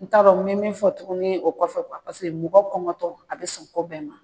N t'a dɔn n bɛ min fɔ tuguni o kɔfɛ mɔgɔ kɔngɔtɔ a bɛ sɔn ko bɛɛ ma